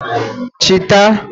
chita